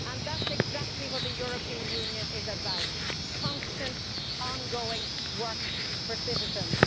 That is exactly what the European Union is about constant ongoing work for citizens.